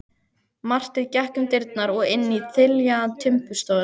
Marteinn gekk um dyrnar og inn í þiljaða timburstofuna.